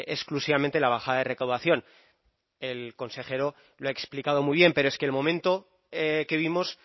exclusivamente la bajada de recaudación el consejero lo ha explicado muy bien pero es que el momento que vimos